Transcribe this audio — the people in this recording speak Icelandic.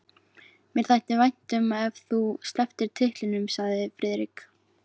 Mér þætti vænt um ef þú slepptir titlinum sagði Friðrik.